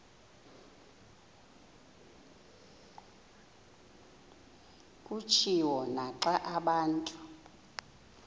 kutshiwo naxa abantu